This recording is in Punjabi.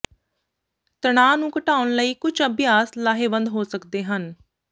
ਤਣਾਅ ਨੂੰ ਘਟਾਉਣ ਲਈ ਕੁਝ ਅਭਿਆਸ ਲਾਹੇਵੰਦ ਹੋ ਸਕਦੇ ਹਨ